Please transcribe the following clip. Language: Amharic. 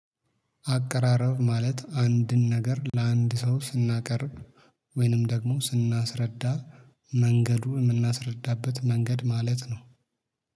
አቀራረብ ማለት አንድን ነገር ለአንድ ሰው ስናቀርብ ወይንም ደግሞ ስናስረዳ መንገዱ የምናስረዳበት መንገድ ማለት ነው።